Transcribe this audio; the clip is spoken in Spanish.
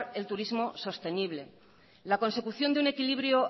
el turismo sostenible la consecución de un equilibrio